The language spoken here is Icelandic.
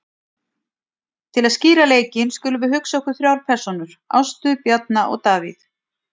Til að skýra leikinn skulum við hugsa okkur þrjár persónur, Ástu, Bjarna og Davíð.